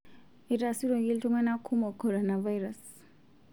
Eitasuroki iltung'ana kumok korona virus